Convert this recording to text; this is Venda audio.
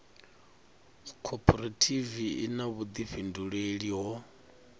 khophorethivi i na vhuḓifhinduleli ho